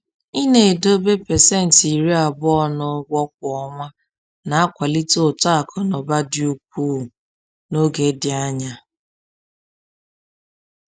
Ịna-edobe pasenti 20 n’ụgwọ kwa ọnwa na-akwalite uto akụ na ụba dị ukwuu n’oge dị anya